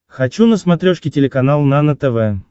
хочу на смотрешке телеканал нано тв